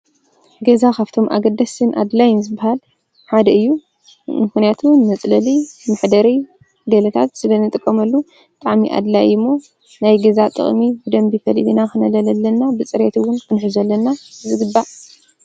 ገዛ ኻብቶም ኣገደስን ኣድላይ ይምዝበሃል ሓደ እዩ ንሕነያቱ መጽለል ምኅደር ገለታት ስለ ንጥቆመሉ ጠዕሚ ኣድላይ ይ ሞ ናይ ገዛ ጠቕሚ ብደምቢፈሊብ ና ኽነለለለና ብጽሬትውን ብንሕ ዘለና ዝግባእ።